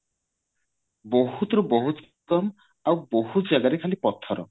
ବହୁତ ରୁ ବହୁତ କମ ଆଉ ବହୁତ ଜାଗା ରେ ଖାଲି ପଥର